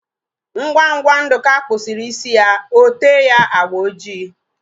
Ngwa ngwa Nduka kpusiri isi ya, ote ya agba ojii